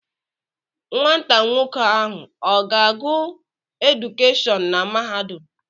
Nwata nwoke ahụ ọ ga-agụ edukeshọn na mahadum?